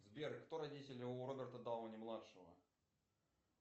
сбер кто родители у роберта дауни младшего